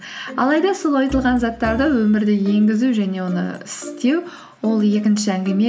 алайда сол айтылған заттарды өмірде енгізу және оны істеу ол екінші әңгіме